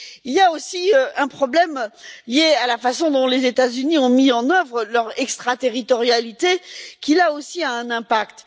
Il y a aussi un problème lié à la façon dont les États Unis ont mis en œuvre leur extraterritorialité, qui, là aussi, a un impact.